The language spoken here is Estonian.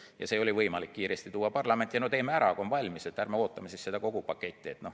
Ent see oli võimalik kiiresti tuua parlamenti ja no teeme ära, kui on valmis, ärme ootame kogu seda paketti.